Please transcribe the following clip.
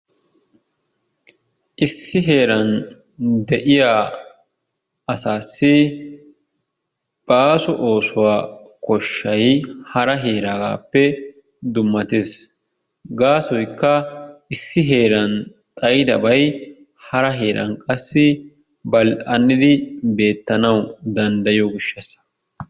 Issi heeran de'iyaa asaasi baaso oosuwaa koshshay hara heeraagasppe dummattees. Gaasoykka issi heeran xaayidabay hara heeran qassi bal"an'idi beettanawu danddayiyoo giishshaasa.